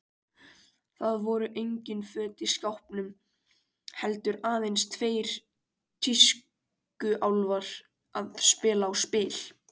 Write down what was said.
Það voru engin föt í skápnum, heldur aðeins tveir tískuálfar að spila á spil.